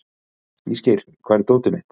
Ísgeir, hvar er dótið mitt?